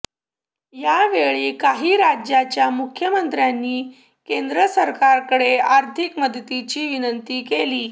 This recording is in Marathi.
यावेळी काही राज्यांच्या मुख्यमंत्र्यांनी केंद्र सरकारकडे आर्थिक मदतीची विनंती केली